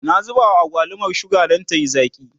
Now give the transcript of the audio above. na zuba wa agwalumar suga Dan tayi zaki